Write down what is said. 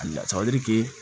A lasabali